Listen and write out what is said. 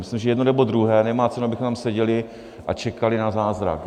Myslím, že jedno, nebo druhé, nemá cenu, abychom tady seděli a čekali na zázrak.